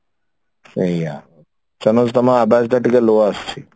ସେଇଆ ସରୋଜ ତମ ଆବାଜ ଟା ଟିକେ low ଆସୁଛି